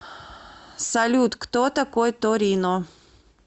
салют кто такой торино